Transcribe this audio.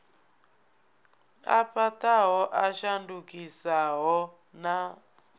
a fhaṱaho a shandukisaho na